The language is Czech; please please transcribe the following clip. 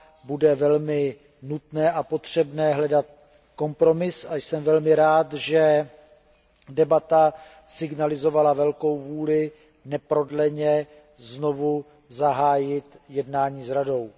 bude velmi nutné a potřebné hledat kompromis, a jsem velmi rád, že debata signalizovala velkou vůli neprodleně znovu zahájit jednání s Radou.